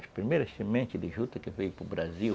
As primeiras sementes de juta que veio para o Brasil